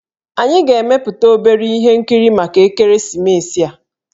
Anyị ga-emepụta obere ihe nkiri maka ekeresimesi a